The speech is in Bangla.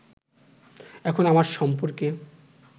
এখন আমার সম্পর্কে